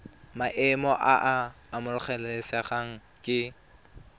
maemo a a amogelesegang ke